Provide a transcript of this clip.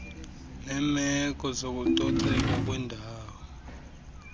neemeko zokucoceka kwendawo